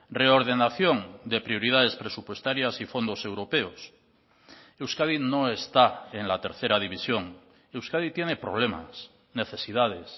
reordenación de prioridades presupuestarias y fondos europeos euskadi no está en la tercera división euskadi tiene problemas necesidades